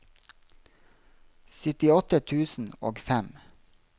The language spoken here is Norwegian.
syttiåtte tusen og fem